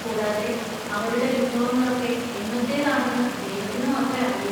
കൂടാതെ, അവരുടെ വിഭവങ്ങളൊക്കെ എന്നത്തേതാണെന്ന് ദൈവത്തിന് മാത്രേ അറിയൂ.